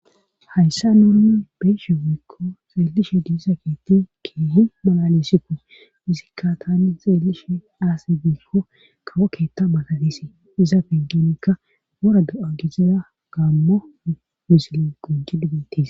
hayssa nuurun beeshe wiikko xeellishe diisa keetti keehi malalesikko izikka tani xeellishe aasi biikko kawo keetta matadisi iza peggenekka wora ga7angisiza gaammo misil qunji dubettiis